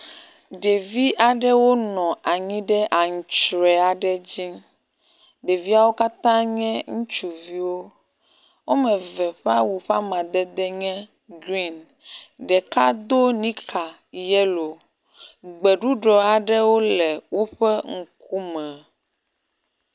Ɖevi aɖewo nɔ anyi ɖe antrɔe aɖe dzi, ɖeviawo katã nye ŋutsuviwo, womeve ƒe awu ƒe amadede nye green, ɖeka do nika yellow, gbeɖuɖɔ aɖewo le woƒe ŋku me